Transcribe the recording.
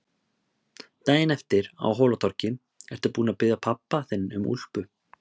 Daginn eftir, á Hólatorgi: Ertu búin að biðja pabba þinn um úlpu?